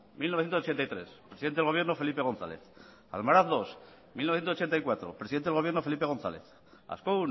mil novecientos ochenta y tres presidente del gobierno felipe gonzález almaraz segundo mil novecientos ochenta y cuatro presidente del gobierno felipe gonzález ascó